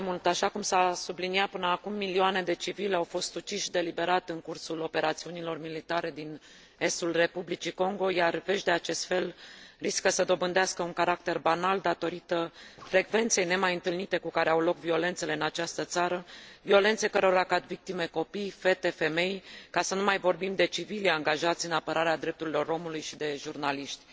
Așa cum s a subliniat până acum, milioane de civili au fost uciși deliberat în cursul operațiunilor militare din estul Republicii Congo, iar vești de acest fel riscă să dobândească un caracter banal datorită frecvenței nemaiîntâlnite cu care au loc violențele în această țară, violențe cărora cad victime copii, fete, femei, ca să nu mai vorbim de civilii angajați în apărarea drepturilor omului și de jurnaliști.